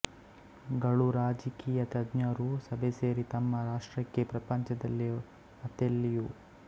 ಗಳೂ ರಾಜಕೀಯ ತಜ್ಞರೂ ಸಭೆಸೇರಿ ತಮ್ಮ ರಾಷ್ಟ್ರಕ್ಕೆ ಪ್ರಪಂಚದಲ್ಲಿ ಮತ್ತೆಲ್ಲಿಯೂ